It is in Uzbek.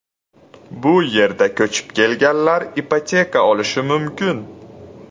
Bu yerga ko‘chib kelganlar ipoteka olishi mumkin.